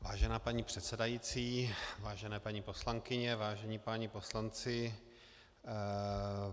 Vážená paní předsedající, vážené paní poslankyně, vážení páni poslanci.